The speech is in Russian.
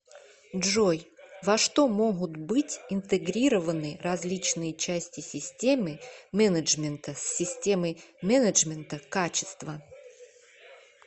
джой во что могут быть интегрированы различные части системы менеджмента с системой менеджмента качества